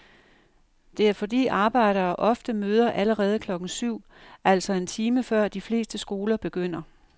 Det er fordi arbejdere ofte møder allerede klokken syv, altså en time før de fleste skoler begynder.